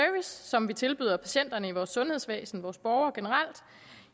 som vi tilbyder patienter i vores sundhedsvæsen vores borgere generelt